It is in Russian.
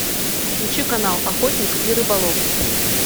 включи канал охотник и рыболов